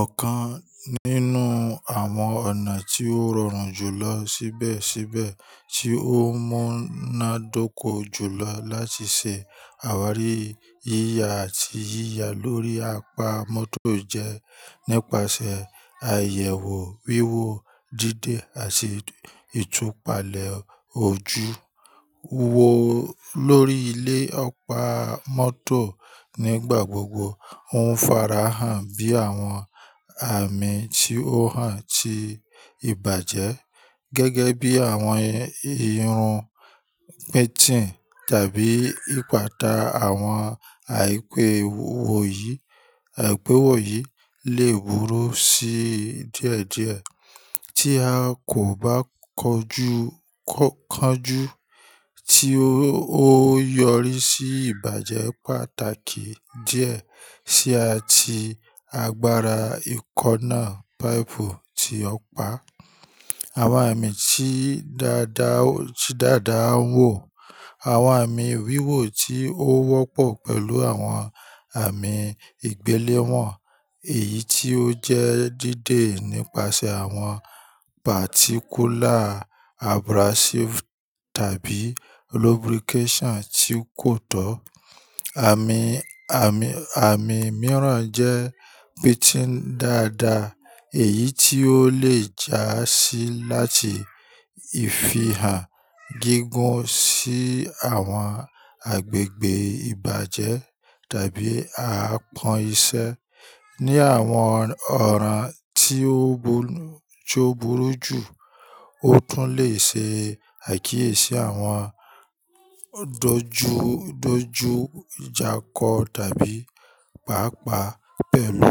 Ọ̀kan nínú àwọn ọ̀nà tí ó rọrùn jùlọ ṣíbẹ̀síbẹ̀ tí ó múnádóko jùlọ láti ṣe àwárí yíya àti yíya lórí apá mọ́tò jẹ́ nípasẹ̀ àyẹ̀wò wíwo díde àti ìtúpalẹ̀ ojú. Wò lórí ilé ọ̀pá mọ́tò nígbà gbogbo, ó ń farahàn bí àwọn àmì tí ó hàn ti ìbàjẹ́, gẹ́gẹ́ bí àwọn ìrùn pín-tín tàbí ìpàtà àwọn àìpéwò yìí. Àìpéwò yìí lè búró sí díẹ̀díẹ̀ tí a kò bá kọjú, kọjú tí ó yọrí sí ìbàjẹ́ pàtàkì díẹ̀ sí ati agbára ìkọnná páìpù tí ọ̀pá. Àwọn àmì tí dáadáa ń wò, àwọn àmì wíwò tí ó wọ́pọ̀ pẹ̀lú àwọn àmì ìgbéléwọ̀n, èyí tí ó jẹ́ dí dé nípasẹ̀ àwọn pàtíkúlà abrasives tabi lubrication tí kò tọ́. Àmì, àmì mìíràn jẹ́ pín-tín dáadáa, èyí tí ó lè jásí láti ìfihàn gígùn sí àwọn agbègbè ìbàjẹ́ tàbí àpọn iṣẹ́. Ni àwọn ọ̀ran tí ó burú jù, ó tún lè ṣe àkíyèsí àwọn dojú dojú ìjákọ̀ tàbí pàápàá pẹ̀lú,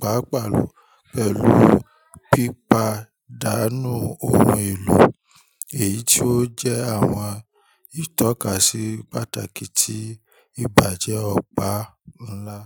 pàápàá pẹ̀lú pípadànu ohun èlò, èyí tí ó jẹ́ àwọn ìtọ́kasí pàtàkì tí ìbàjẹ́ ọ̀pá ńlá.